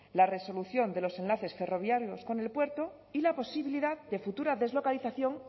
la resolución de los enlaces ferroviarios con el puerto y la posibilidad de futura deslocalización